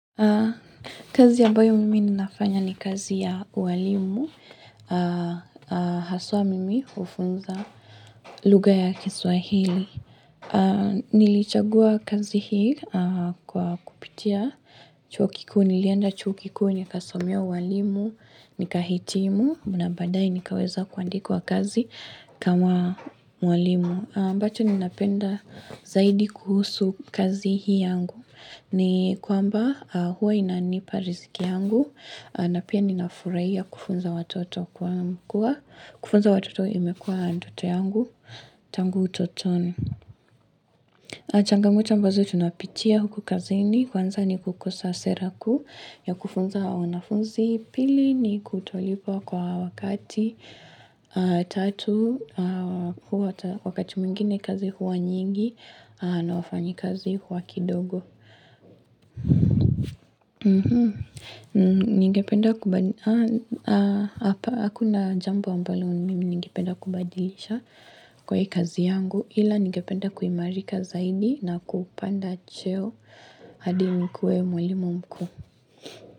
Kazi ambayo mimi ninafanya ni kazi ya uwalimu, haswa mimi hufunza lugha ya kiswahili. Nilichagua kazi hii kwa kupitia chuo kikuu, nilienda chuo kikuu, nikasomea uwalimu, nika hitimu, na baadae nikaweza kuandikwa kazi kama mwalimu. Ambacho ninapenda zaidi kuhusu kazi hii yangu ni kwamba huwa inanipa riziki yangu na pia ninafurahia kufunza watoto kwa kua kufunza watoto imekua ndoto yangu Tangu utotoni changamoto ambazo tunapitia huku kazini Kwanza ni kukosa sera kuu ya kufunza wanafunzi Pili ni kutolipwa kwa wakati Tatu wakati mwingine kazi huwa nyingi na wafanyikazi huwa kidogo ningependa kubadilisha hapa hakuna jambo ambalo mimi ningependa kubadilisha kwa kazi yangu ila ningependa kuimarika zaidi na kupanda cheo hadi nikuwe mwalimu mkuu.